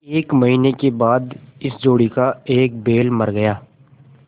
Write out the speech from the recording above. एक महीने के बाद इस जोड़ी का एक बैल मर गया